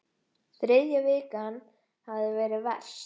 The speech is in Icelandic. Þriðja vikan hefði verið verst.